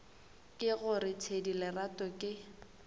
ke gore thedi lerato ke